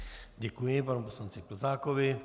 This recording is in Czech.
Děkuji panu poslanci Plzákovi.